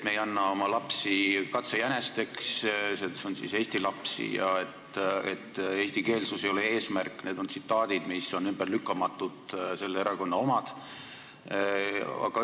Me ei anna oma lapsi katsejänesteks, s.o eesti lapsi, ja eestikeelsus ei ole eesmärk – need on tsitaadid, need on ümberlükkamatult selle erakonna sõnad.